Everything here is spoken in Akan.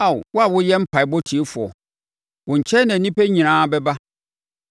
Ao, wo a woyɛ mpaeɛbɔ tiefoɔ, wo nkyɛn na nnipa nyinaa bɛba.